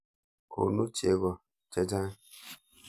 Konu cheko che chang'.